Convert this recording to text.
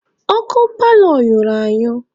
Ọkụ paalọ nyụrụ anyụ.